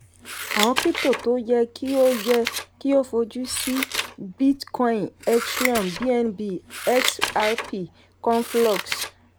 àwọn krípútò tó yẹ kí o yẹ kí o fojú sí: bitcoin ethereum bnb xrp conflux.